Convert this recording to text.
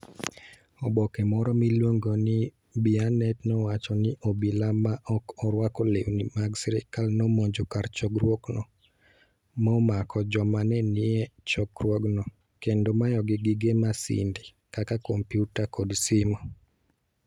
oboke moro miluongo ni Bianet nowacho ni obila ma ok orwako lewni mag sirkal nomonjo kar chokruogno, momako joma ne nie chokruogno, kendo mayogi gige masinde kaka kompyuta kod simo.